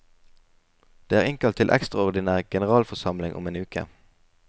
Det er innkalt til ekstraordinær generalforsamling om en uke.